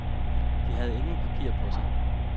De havde ingen papirer på sig.